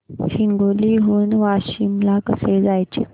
हिंगोली हून वाशीम ला कसे जायचे